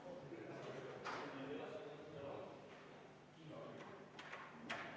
Palun võtta seisukoht ja hääletada!